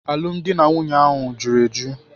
Alụmdi na nwunye ahụ juru eju.